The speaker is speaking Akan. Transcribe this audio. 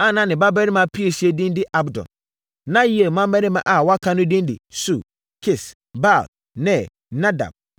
a na ne babarima piesie din de Abdon. Na Yeiel mmammarima a wɔaka no din de Sur, Kis, Baal, Ner, Nadab,